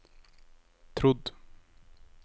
trodd